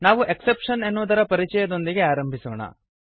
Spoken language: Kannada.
ನಾವು ಎಕ್ಸೆಪ್ಷನ್ ಎನ್ನುವುದರ ಪರಿಚಯದೊಂದಿಗೆ ಆರಂಭಿಸೋಣ